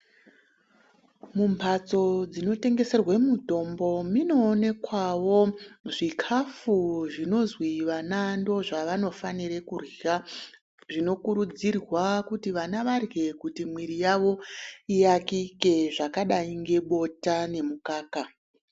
Mumhatso dzinotengeserwe mutombo munoonekwawo zvikhafu zvinozwi vana ndozvavanofanira kurya zvinokurudzirwa kuti vana varye kuti mwiri yavo yiakike zvakadayi ngebota nemukaka.